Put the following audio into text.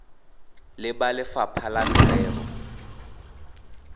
le ba lefapha la merero